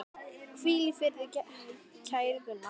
Hvíl í friði, kæri Gunnar.